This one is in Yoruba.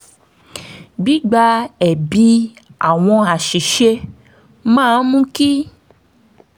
gbígba ẹ̀bi àwọn àṣìṣe máa ń mú kí